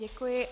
Děkuji.